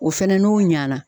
O fɛnɛ n'o ɲana